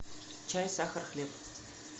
чай сахар хлеб